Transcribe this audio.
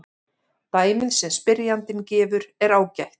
Dæmið sem spyrjandinn gefur er ágætt.